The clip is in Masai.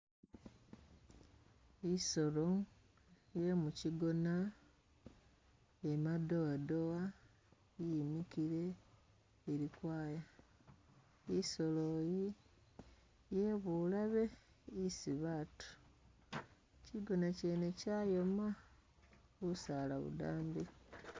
I'solo iye mu kigona iya madowa-dowa yimikile ili kwaya. I'solo eyi yebulabe isi batu. Kigona kyene kyayoma busaala budambi.